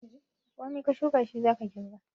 Komai ka shuka shi za ka girba.